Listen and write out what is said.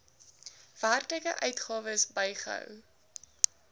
werklike uitgawes bygehou